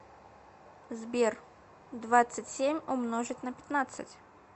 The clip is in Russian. сбер двадцать семь умножить на пятнадцать